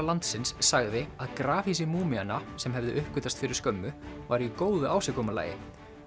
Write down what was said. landsins sagði að grafhýsi sem hefðu uppgötvast fyrir skömmu væru í góðu ásigkomulagi